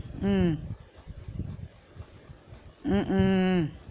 உம் உம் உம்